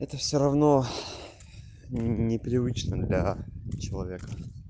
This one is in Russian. это всё равно непривычно для человека